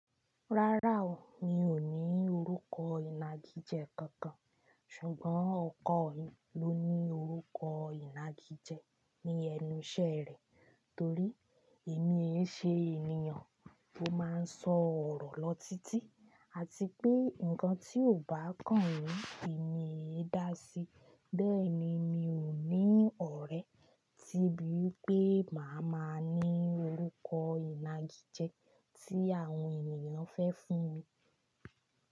Rárá o, mi ò ní orúkọ ìnagijẹ kankan, ṣùgbọ́n ọkọ mi ló ní orúkọ ìnagijẹ ní ẹnu ìṣe rẹ̀ torí èmi é ṣe ènìyàn tó máa ń sọ ọ̀rọ̀ lọ títí àti pé ǹkan tí ò bá kàn mí, èmi é dá sí. Bẹ́ẹ̀ ni mi ò ní ọ̀rẹ́ tí bú wipé màá ma ní orúkọ ìnagijẹ tí àwọn ènìyàn fẹ́ fún mi.